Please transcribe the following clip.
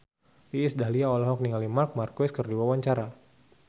Iis Dahlia olohok ningali Marc Marquez keur diwawancara